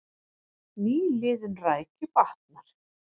Nýliðun rækju batnar